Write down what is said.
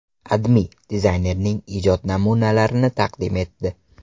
AdMe dizaynerning ijod namunlarini taqdim etdi .